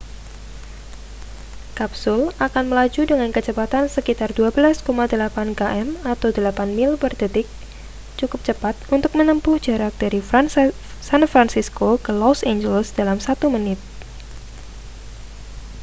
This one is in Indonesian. kapsul akan melaju dengan kecepatan sekitar 12,8 km atau 8 mil per detik cukup cepat untuk menempuh jarak dari san francisco ke los angeles dalam satu menit